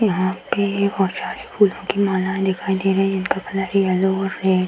यहां पे ये बहोत सारी फूलों की मालाएं दिखाई दे रही हैं। इनका कलर येलो और रेड --